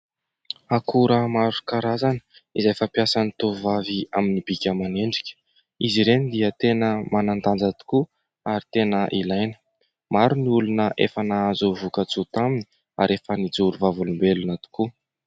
Akora maro karazany izay fampiasan'ny tovovavy amin'ny bika aman'endrika, izy ireny dia tena manan-danja tokoa ary tena ilaina, maro ny olona efa nahazo voka-tsoa taminy ary efa nijoro vavolombelona tokoa.